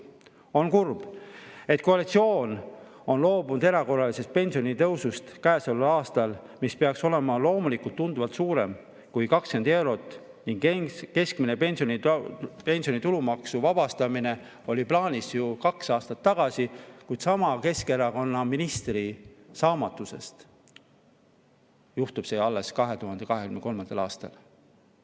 On kurb, et koalitsioon on loobunud käesoleval aastal erakorralisest pensionitõusust, mis peaks olema loomulikult tunduvalt suurem kui 20 eurot, ning keskmise pensioni tulumaksust vabastamine oli plaanis ju kaks aastat tagasi, kuid sama Keskerakonna ministri saamatuse tõttu juhtub see alles 2023. aastal.